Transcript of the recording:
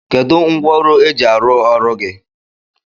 Kedụ ngwaọrụ e ji arụ ọrụ gị?